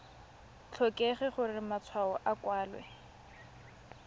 tlhokege gore matshwao a kwalwe